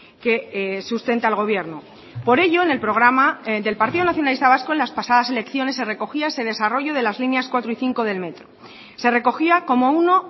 que sustenta al gobierno por ello en el programa del partido nacionalista vasco en las pasadas elecciones se recogía ese desarrollo de las líneas cuatro y cinco del metro se recogía como uno